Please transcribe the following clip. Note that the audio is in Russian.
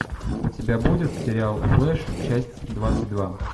у тебя будет сериал флеш часть двадцать два